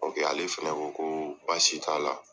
O kɛ ale fana ko ko baasi t'a la